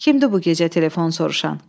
Kimdir bu gecə telefon soruşan?